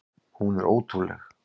Hún er ótrúleg!